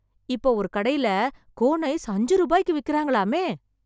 இப்போ ஒரு கடையில, கோன் ஐஸ் அஞ்சு ரூபாய்க்கு விக்கிறாங்களாமே...